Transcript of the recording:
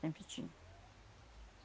Sempre tinha.